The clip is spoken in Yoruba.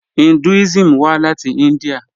Hinduism wà láti India.